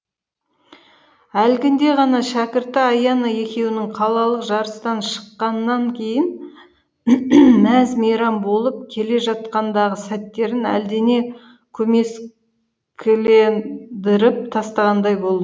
әлгінде ғана шәкірті аяна екеуінің қалалық жарыстан шыққаннан кейін мәз мейрам болып келе жатқандағы сәттерін әлдене көмескілендіріп тастағандай